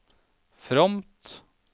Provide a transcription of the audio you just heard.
fromt